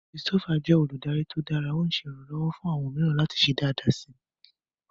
Christopher jẹ oludari to dara, o ṣe iranlọwọ fun awọn miiran lati ṣe daadaa si